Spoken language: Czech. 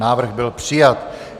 Návrh byl přijat.